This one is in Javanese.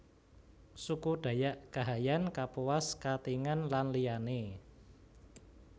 Suku Dayak Kahayan Kapuas Katingan lan liyané